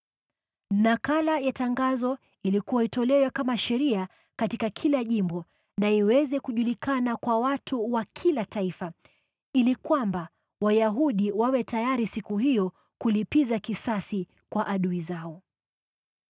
Nakala ya tangazo ilikuwa itolewe kama sheria katika kila jimbo na iweze kujulikana kwa watu wa kila taifa, ili kwamba Wayahudi wawe tayari siku hiyo kulipiza kisasi kwa adui zao.